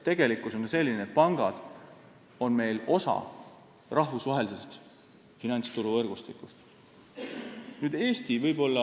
Tegelikkus on selline, et pangad on meil osa rahvusvahelisest finantsturuvõrgustikust.